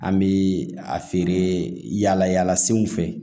An bɛ a feere yala yala senw fɛ